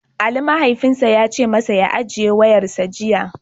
Ali mahaifinsa ya ce masa ya "Ajiye wayarsa" jiya.